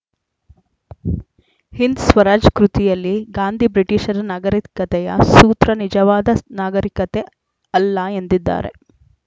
ಹಿಂದ್‌ ಸ್ವರಾಜ್‌ ಕೃತಿಯಲ್ಲಿ ಗಾಂಧಿ ಬ್ರಿಟಿಷರ ನಾಗರಿಕತೆಯ ಸೂತ್ರ ನಿಜವಾದ ನಾಗರಿಕತೆ ಅಲ್ಲ ಎಂದಿದ್ದಾರೆ